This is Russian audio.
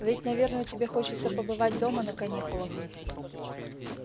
ведь наверное тебе хочется побывать дома на каникулах